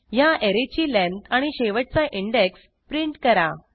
ह्या ऍरेची लेंथ आणि शेवटचा इंडेक्स प्रिंट करा